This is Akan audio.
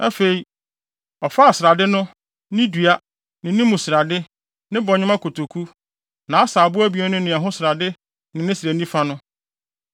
Afei, ɔfaa srade no, ne dua, ne ne mu srade, ne bɔnwoma kotoku, nʼasaabo abien no ne ɛho srade ne ne srɛ nifa no.